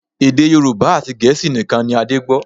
Èdè Yorùbá àti Gẹ̀ẹ́sì nìkan ni Adé gbọ́